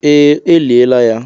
Ee, eliela ya.